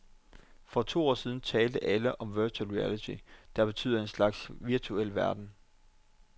For to år siden talte alle om virtual reality, der betyder en slags virtuel virkelighed.